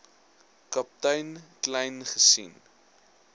kaptein kleyn gesien